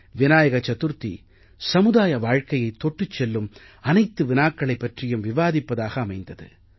விநாயக சதுர்த்தி சமுதாய வாழ்க்கையைத் தொட்டுச் செல்லும் அனைத்து வினாக்களைப் பற்றியும் விவாதிப்பதாக அமைந்தது